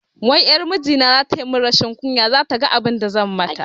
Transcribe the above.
Wai ƴar mijina zata mun rashin kunya, zata ga abinda zan mata